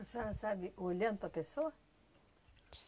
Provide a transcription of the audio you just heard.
A senhora sabe olhando para a pessoa?